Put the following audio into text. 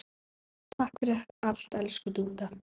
Takk fyrir allt, elsku Dúdda.